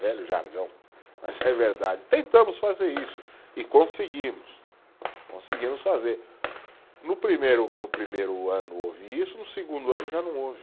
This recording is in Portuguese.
Velho jargão, mas é verdade, tentamos fazer isso e conseguimos, conseguimos fazer, no primeiro, no primeiro ano houve isso, no segundo ano já não houve